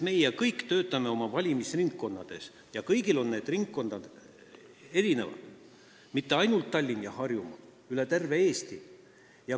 Me kõik töötame oma valimisringkonnas ja kõik need ringkonnad on erinevad, need ei ole mitte ainult Tallinn ja Harjumaa, need on üle terve Eesti.